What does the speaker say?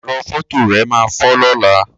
Ẹrọ fọto rẹ máa fọ lọnà.